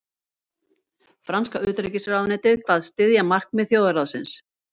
Franska utanríkisráðuneytið kvaðst styðja markmið þjóðarráðsins